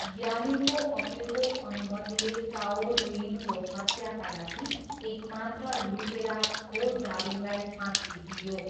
ग्यालिङको अपिलको अनुमतिले काओ रुयिनको हत्याका लागि एकमात्र लुटेरा खो जाबिङलाई फाँसी दिइयो।